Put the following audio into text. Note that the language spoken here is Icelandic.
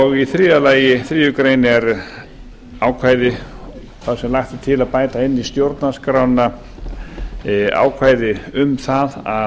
og í þriðja lagi í þriðju grein er ákvæði þar sem lagt er til að bæta inn í stjórnarskrána ákvæði um það að